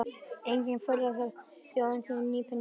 Engin furða þótt þjóðin sé hnípin og í vanda.